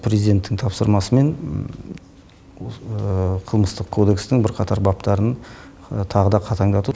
президенттің тапсырмасымен қылмыстық кодекстің бірқатар бабтарын тағы да қатаңдату